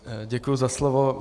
Děkuji za slovo.